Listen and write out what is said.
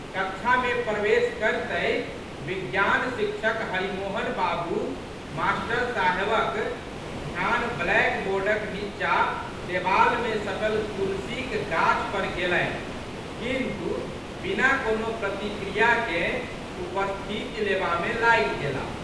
कक्षामे प्रवेश करतहि विज्ञान शिक्षक हरिमोहन बाबू मास्टर साहेबक ध्यान ब्लैक बोर्डक नींचा देबालमे सटल तुलसीक गाछ पर गेलनि किन्तु, बिना कोनो प्रतिक्रियाके उपस्थिति लेबामे लागि गेला।